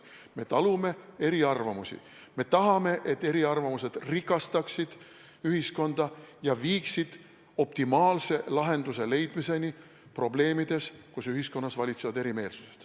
Me talume eriarvamusi, me tahame, et eriarvamused rikastaksid ühiskonda ja viiksid optimaalse lahenduse leidmiseni probleemide puhul, kus ühiskonnas valitsevad erimeelsused.